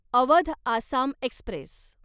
Awadh Assam Express